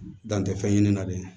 Dan tɛ fɛn ɲini na dɛ